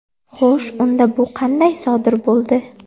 Xo‘sh, unda bu qanday sodir bo‘ldi?